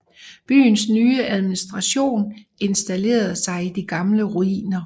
Byens nye administration installerede sig i de gamle ruiner